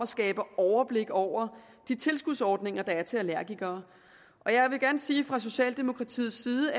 skabt overblik over de tilskudsordninger der er til allergikere jeg vil gerne sige at vi fra socialdemokratiets side